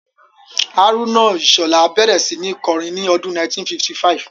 Haruna Ishola bẹ̀rẹ̀ sí ní kọrin ní ọdún 1955